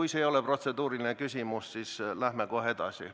Kui see ei ole protseduuriline küsimus, siis läheme kohe edasi.